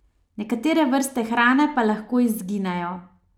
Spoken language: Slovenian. Nekatere vrste hrane pa lahko izginejo.